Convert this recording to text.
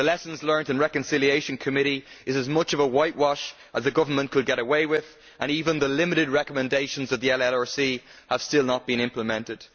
The Lessons Learnt and Reconciliation Committee is as much of a whitewash as the government could get away with, and even the limited recommendations of the LLRC have still not been implemented.